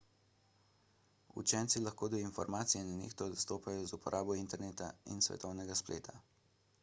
učenci lahko do informacij nenehno dostopajo z uporabo interneta in svetovnega spleta